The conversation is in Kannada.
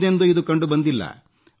ಹಿಂದೆಂದೂ ಇದು ಕಂಡುಬಂದಿಲ್ಲ